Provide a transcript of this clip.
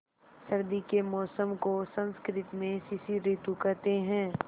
सर्दी के मौसम को संस्कृत में शिशिर ॠतु कहते हैं